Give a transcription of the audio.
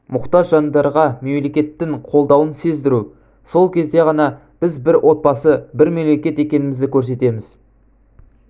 мұқтаж жандарға мемлекеттің қолдауын сездіру сол кезде ғана біз бір отбасы бір мемлекет екенімізді көрсетеміз